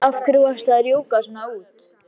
Af hverju varstu að rjúka svona út?